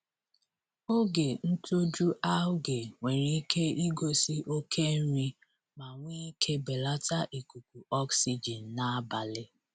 Oge ntoju algae nwere ike igosi oke nri ma nwee ike belata ikuku oxygen n'abalị.